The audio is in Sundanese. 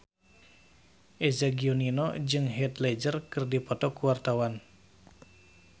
Eza Gionino jeung Heath Ledger keur dipoto ku wartawan